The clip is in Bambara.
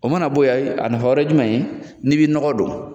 O mana bɔ yen, ayi a nafa wɛrɛ ye jumɛn ye? N'i bi nɔgɔ don.